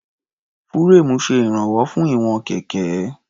Fúréèmù ṣe ìránwọ́ fún ìwọ̀n kẹ̀kẹ́.